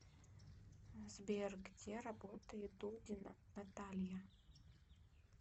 сбер где работает дудина наталья